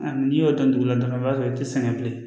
A n'i y'o don dugu la dɔrɔn i b'a sɔrɔ i tɛ sɛgɛn bilen